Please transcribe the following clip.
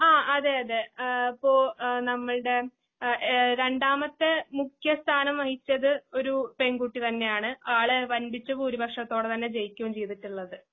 ആ അതേയതെ. ഏഹ്പോ എഹ്നമ്മൾടെ എഏഹ് രണ്ടാമത്തെമുഖ്യസ്ഥാനംവഹിച്ചത് ഒരൂപെൺകുട്ടിതന്നേയാണ്. ആള് വൻപിച്ച പൂരിപക്ഷത്തോടെതന്നെജയിക്കുവേംചെയ്തിട്ടുള്ളത്.